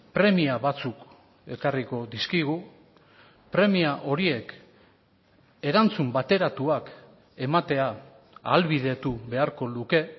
premia batzuk ekarriko dizkigu premia horiek erantzun bateratuak ematea ahalbidetu beharko luke